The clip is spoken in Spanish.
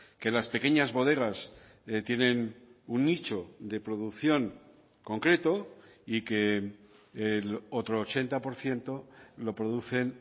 que las pequeñas bodegas tienen un nicho de producción concreto y que el otro ochenta por ciento lo producen